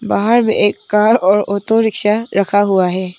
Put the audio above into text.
बाहर में एक कर और ऑटो रिक्शा रखा हुआ है।